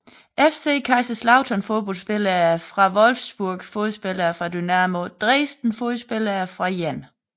FC Kaiserslautern Fodboldspillere fra VfL Wolfsburg Fodboldspillere fra Dynamo Dresden Fodboldspillere fra 1